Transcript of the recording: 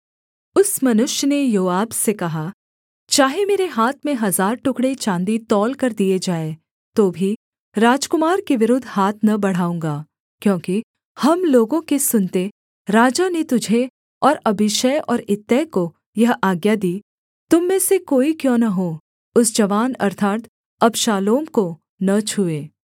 उस मनुष्य ने योआब से कहा चाहे मेरे हाथ में हजार टुकड़े चाँदी तौलकर दिए जाएँ तो भी राजकुमार के विरुद्ध हाथ न बढ़ाऊँगा क्योंकि हम लोगों के सुनते राजा ने तुझे और अबीशै और इत्तै को यह आज्ञा दी तुम में से कोई क्यों न हो उस जवान अर्थात् अबशालोम को न छूए